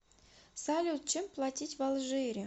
салют чем платить в алжире